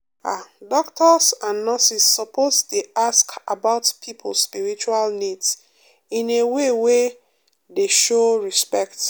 ah doctors and nurses suppose dey ask about people spiritual needs in a way wey dey show respect.